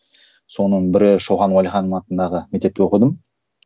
соның бірі шоқан уәлиханов атындағы мектепте оқыдым